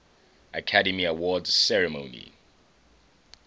academy awards ceremony